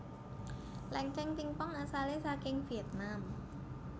Lengkeng pingpong asale saking Vietnam